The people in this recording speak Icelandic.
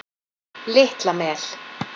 Litla Mel